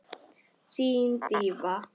Þín, Drífa.